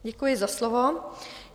Děkuji za slovo.